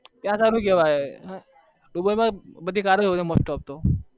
ત્યાં સારું કેવાય